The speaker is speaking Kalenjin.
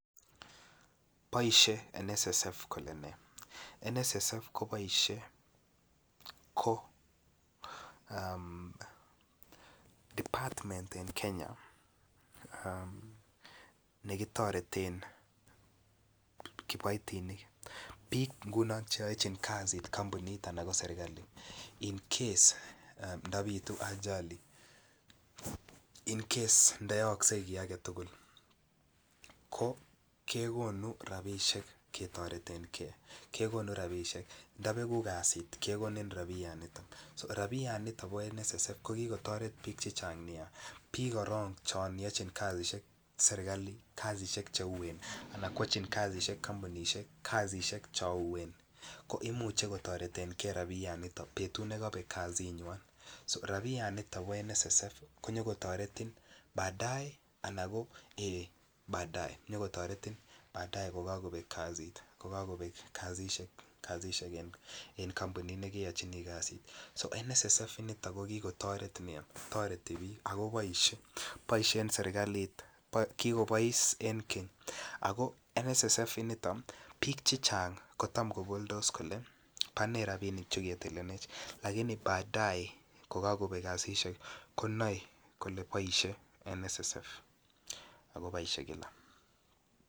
Paishe NSSF kole ne NSSF ko paishe ko department en Kenya ne kitoreten kiboitinik bik Che yachin kasit kampunit anan ko serkali incase ndo bitu ajali ndo yookse ki age tugul kegonu rabisiek ketoreten ge kegonu rabisiek ndo begu kasit kegonu rabisiek kekonin rabianito bo NSSF ko ki kotoret bik Che Chang Nia bik chon yon yochin kasisyek serkali kasisyek Che uueen anan ko yachin kasisyek kampunisiek kasisyek chon uueen ko imuche kotoreten ge rabianito amun betut ne kobek kasinywan so rabianito bo NSSF konyo kotoretin baadaye ko kakobek kasisyek en kampunit ne keyochini kasit NSSF initon ko ki kotoret bik chechang Nia ago boisie en serkalit boisiet en keny ago NSSF initon bik chechang ko Tam koboldos kole bone rapinik Che ketilenech lakini baadaye ko kagobek kasisyek konoe kole paishe NSSF ako bo iman